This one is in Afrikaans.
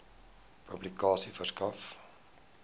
publikasie verskaf